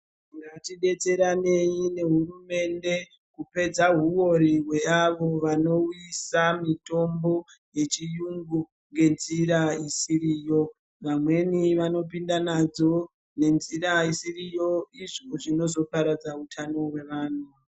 Ngatidetseranei nehurumende kupedza huwori hweavo vanouyisa mitombo yechiyungu ngenjira isiriyo, vamweni vanopinda nadzo nenzira isiriyo izvo zvinozoparadza utano hwevanhu.